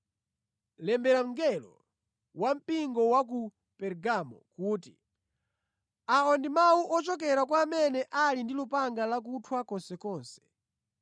“Lembera mngelo wa mpingo wa ku Pergamo kuti: Awa ndi mawu ochokera kwa amene ali ndi lupanga lakuthwa konsekonse.